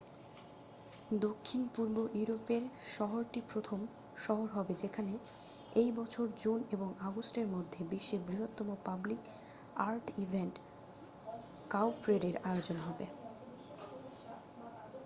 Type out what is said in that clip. দক্ষিণ-পূর্ব ইউরোপের শহরটি প্রথম শহর হবে যেখানে এই বছর জুন এবং আগস্টের মধ্যে বিশ্বের বৃহত্তম পাবলিক আর্ট ইভেন্ট কাউপ্রেডের আয়োজন হবে